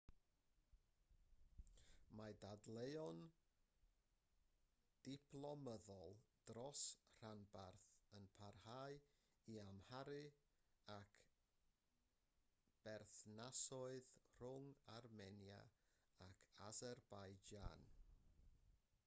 mae dadleuon diplomyddol dros y rhanbarth yn parhau i amharu ar berthnasoedd rhwng armenia ac aserbaijan